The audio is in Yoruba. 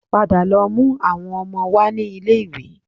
Padà lọ mú àwọn ọmọ wá ní ilé-iwé